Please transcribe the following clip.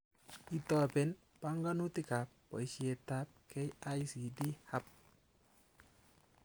Itoben banganutikab boishetab KICDHub